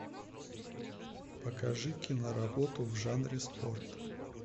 покажи киноработу в жанре спорт